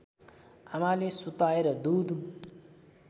आमाले सुताएर दूध